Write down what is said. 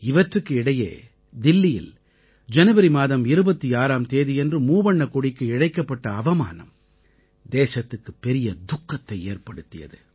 இவற்றுக்கு இடையே தில்லியில் ஜனவரி மாதம் 26ஆம் தேதியன்று மூவண்ணக் கொடிக்கு இழைக்கப்பட்ட அவமானம் தேசத்துக்குப் பெரிய துக்கத்தை ஏற்படுத்தியது